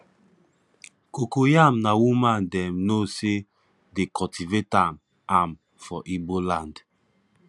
cocoyam na woman dem know say de cultivate am am for igbo land